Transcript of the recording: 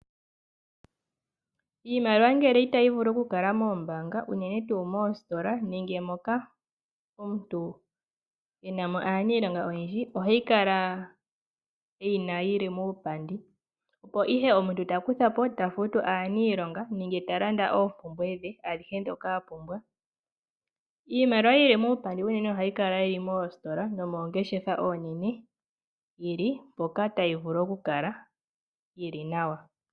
Iimaliwa ngele itayi vulu okukala moombaanga, unene tuu moositola nenge moka omuntu ina mona aaniilonga oyendji. Ohayi kala muupandi, opo ihe omuntu ta kuthapo, ta futu aaniilonga nenge ta landa oompumbwe dhe adhihe dhoka omuntu a pumbwa. Iimaliwa yili muupandi unene ohayi kala yili moositola, nomoongeshefa oonene, tili mpoka tayi vulu okukala yili nawa.